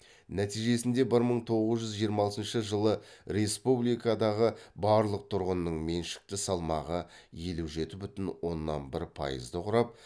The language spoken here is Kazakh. нәтижесінде бір мың тоғыз жүз жиырма алтыншы жылы республикадағы барлық тұрғынның меншікті салмағы елу жеті бүтін оннан бір пайызды құрап